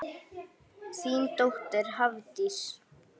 Þín dóttir, Hafdís.